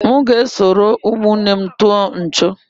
M ga-eso ụmụnne m tụọ nchọ̀.